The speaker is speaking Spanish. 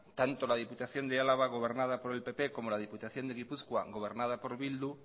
tanto la diputación de álava gobernada por el pp como la diputación de gipuzkoa gobernada por bildu